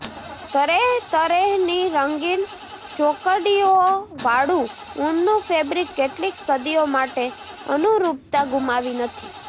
તરેહતરેહની રંગીન ચોકડીઓવાળું ઊનનું ફેબ્રિક કેટલીક સદીઓ માટે અનુરૂપતા ગુમાવી નથી